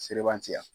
Seleban ci yan